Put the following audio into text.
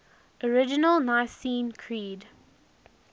original nicene creed